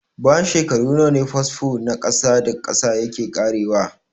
Bayan shekaru nawa ne fasfo na ƙasa da ƙasa yake ƙarewa?